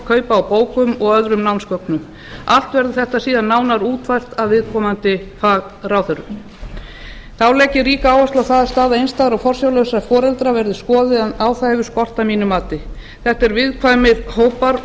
kaupa á bókum og öðrum námsgögnum allt verður þetta síðan nánar útfært af viðkomandi fagráðherrum þá legg ég ríka áherslu á að staða einstæðra og forsjárlausra foreldra verði skoðuð en á það hefur skort að mínu mati þetta eru viðkvæmir hópar og